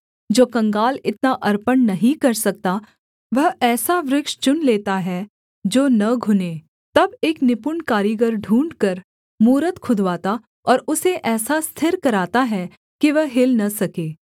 जो कंगाल इतना अर्पण नहीं कर सकता वह ऐसा वृक्ष चुन लेता है जो न घुने तब एक निपुण कारीगर ढूँढ़कर मूरत खुदवाता और उसे ऐसा स्थिर कराता है कि वह हिल न सके